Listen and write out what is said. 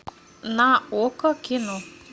на окко кино